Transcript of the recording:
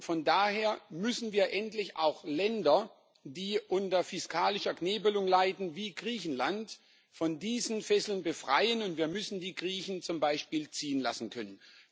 Von daher müssen wir endlich auch Länder, die unter fiskalischer Knebelung leiden wie Griechenland von diesen Fesseln befreien, und wir müssen die Griechen zum Beispiel ziehen lassen können.